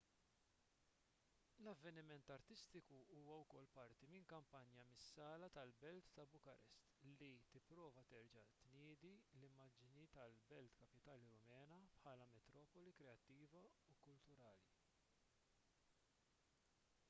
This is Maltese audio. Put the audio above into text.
l-avveniment artistiku huwa wkoll parti minn kampanja mis-sala tal-belt ta' bukarest li tipprova terġa' tniedi l-immaġni tal-belt kapitali rumena bħala metropoli kreattiva u kkulurita